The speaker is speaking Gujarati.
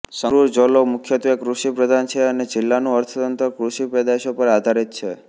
સંગરુર જોલ્લો મુખ્યત્વે કૃષિપ્રધાન છે અને જિલ્લાનુ અર્થતંત્ર કૃષિપેદાશો પર આધારિત છે